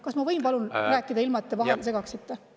Kas ma võin palun rääkida, ilma et te vahele segaksite?